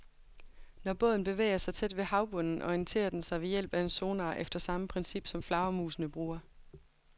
Når båden bevæger sig tæt ved havbunden, orienterer den sig ved hjælp af en sonar efter samme princip, som flagermusene bruger.